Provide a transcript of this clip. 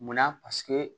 Munna paseke